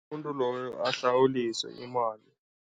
Umuntu loyo ahlawuliswe imali.